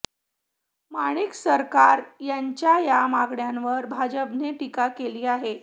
माणिक सरकार यांच्या या मागण्यांवर भाजपाने टीका केली आहे